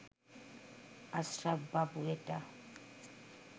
আশরাফ বাবু এটা